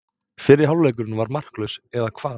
Fyrri hálfleikurinn var markalaus, eða hvað?